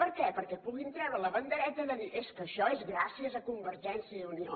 per què perquè puguin treure la bandereta de dir és que això és gràcies a convergència i unió